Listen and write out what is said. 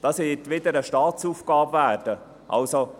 – Dies wird wohl wieder eine Staatsaufgabe werden.